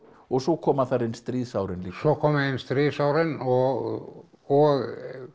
og svo koma þar inn stríðsárin líka svo koma inn stríðsárin og og